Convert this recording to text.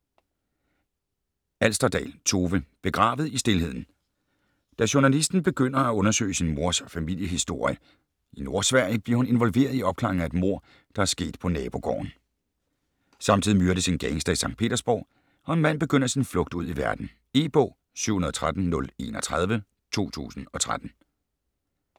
Alsterdal, Tove: Begravet i stilheden Da journalisten Katrine begynder at undersøge sin mors familiehistorie i Nordsverige, bliver hun involveret i opklaringen af et mord, der er sket på nabogården. Samtidig myrdes en gangster i Sankt Petersborg, og en mand begynder sin flugt ud i verden. E-bog 713031 2013.